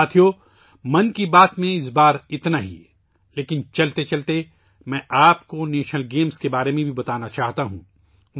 ساتھیو ،' من کی بات ' میں اس بار اتنا ہی ، لیکن چلتے چلتے ، میں آپ کو قومی کھیلوں کے بارے میں بھی بتانا چاہتا ہوں